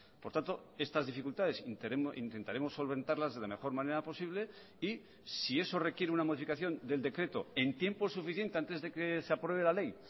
por tanto estas dificultades intentaremos solventarlas de la mejor manera posible y si eso requiere una modificación del decreto en tiempo suficiente antes de que se apruebe la ley